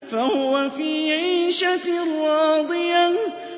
فَهُوَ فِي عِيشَةٍ رَّاضِيَةٍ